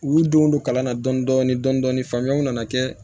U y'u denw don kalan na dɔɔni dɔɔni faamuyaw nana kɛ